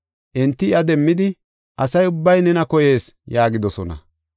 Enti iya demmidi, “Asa ubbay nena koyees” yaagidosona.